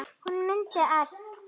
Hún mundi allt.